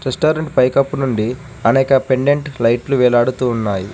Restaurant పైకప్పు నుండి అనేక పెండెంట్ లైట్లు వేలాడుతూ ఉన్నాయి.